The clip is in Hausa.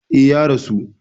E, Ya rasu.